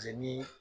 ni